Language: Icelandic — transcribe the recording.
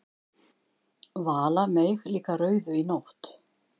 Vala meig líka rauðu í nótt!